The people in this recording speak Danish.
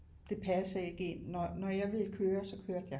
Det passede ikke ind og når jeg ville køre så kørte jeg